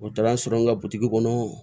O taara n sɔrɔ n ka bitigi kɔnɔ